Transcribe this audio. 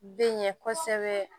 Bɛ ɲɛ kɔsɛbɛ